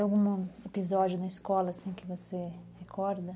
E algum episódio na escola que você recorda?